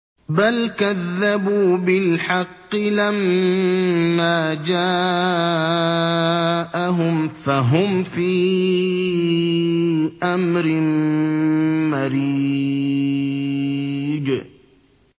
بَلْ كَذَّبُوا بِالْحَقِّ لَمَّا جَاءَهُمْ فَهُمْ فِي أَمْرٍ مَّرِيجٍ